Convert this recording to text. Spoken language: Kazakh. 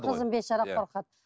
қызым бейшара қорқады